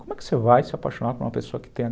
Como é que você vai se apaixonar por uma pessoa que tem